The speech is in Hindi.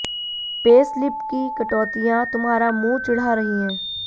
पे स्लिप की कटौतियां तुम्हारा मुंह चिढ़ा रही हैं